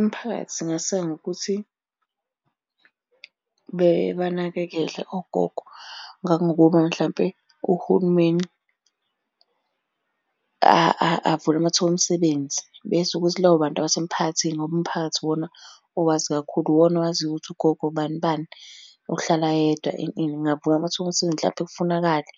Imphakathi ingaseka ngokuthi, banakekele ogogo ngangokuba mhlampe uhulumeni avule amathuba omsebenzi. Bese ukuthi labo bantu abasemphakathini, ngoba umphakathi iwona owazi kakhulu, uwona owaziyo ukuthi ugogo bani bani, ohlala yedwa ini ini. Kungavuka amathuba omsebenzi hlampe kufunakale